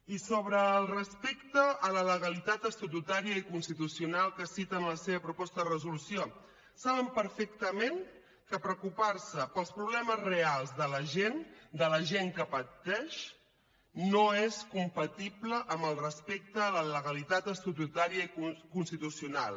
i sobre el respecte a la legalitat estatutària i constitucional que cita en la seva proposta de resolució saben perfectament que preocupar se pels problemes reals de la gent de la gent que pateix no és compatible amb el respecte a la legalitat estatutària i constitucional